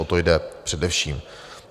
O to jde především.